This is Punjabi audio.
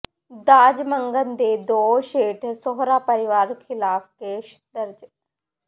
ਦਾਜ ਮੰਗਣ ਦੇ ਦੋਸ਼ ਹੇਠ ਸਹੁਰਾ ਪਰਿਵਾਰ ਖਿਲਾਫ਼ ਕੇਸ ਦਰਜ